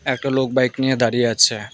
একটা লোক বাইক নিয়ে দাঁড়িয়ে আছে।